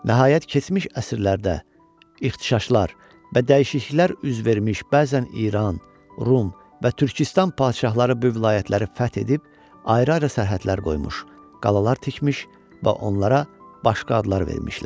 Nəhayət, keçmiş əsrlərdə ixtişaşlar və dəyişikliklər üz vermiş, bəzən İran, Rum və Türküstan padşahları bu vilayətləri fəth edib, ayrı-ayrı sərhədlər qoymuş, qalalar tikmiş və onlara başqa adlar vermişlər.